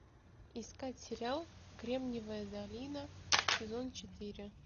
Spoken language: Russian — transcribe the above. искать сериал кремниевая долина сезон четыре